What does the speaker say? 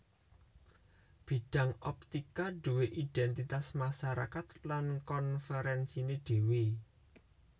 Bidang optika duwé identitas masarakat lan konferensiné dhéwé